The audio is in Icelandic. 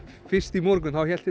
fyrst í morgun hélt